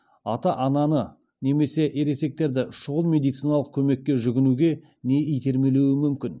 ата ананы немесе ересектерді шұғыл медициналық көмекке жүгінуге не итермелеуі мүмкін